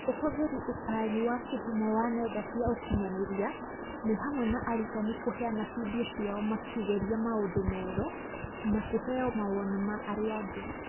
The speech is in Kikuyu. Ũhũthĩri ũtarĩ wa kĩhumo wa nenda cia ũkinyanĩria nĩ hamwe na arutani kũheana vidio ciao makĩgeria maũndũ merũ na kũheo mawoni ma arĩa angĩ.